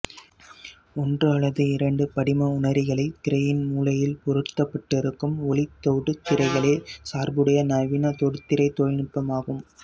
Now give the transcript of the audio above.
ஒன்று அல்லது இரண்டு படிம உணரிகளைத் திரையின் மூலையில் பொருத்தப்பட்டிருக்கும் ஒளித் தொடுதிரைகளே சார்புடைய நவீன தொடுதிரை தொழில்நுட்பமாகும்